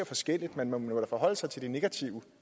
forskelligt men man må jo forholde sig til den negative